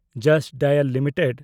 just Dial limited